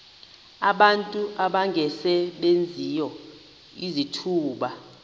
abantu abangasebenziyo izithuba